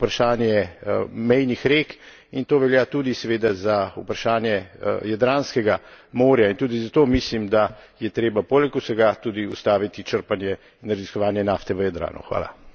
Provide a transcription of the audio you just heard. Tako velja za vprašanje mejnih rek in to velja tudi seveda za vprašanje Jadranskega morja in tudi zato mislim, da je treba poleg vsega tudi ustaviti črpanje in raziskovanje nafte v Jadranu.